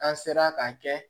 An sera k'a kɛ